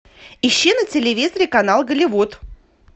ищи на телевизоре канал голливуд